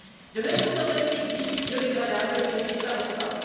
De même, certains plastiques dits biodégradables ne disparaissent pas.